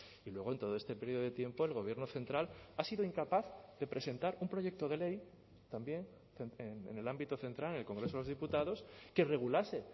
y luego en todo este periodo de tiempo el gobierno central ha sido incapaz de presentar un proyecto de ley también en el ámbito central en el congreso de los diputados que regulase